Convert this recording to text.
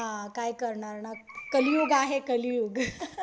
हां काय करणार ना. कलियुग आहे कलियुग